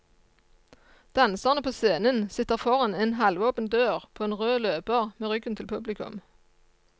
Danserne på scenen sitter foran en halvåpen dør, på en rød løper, med ryggen til publikum.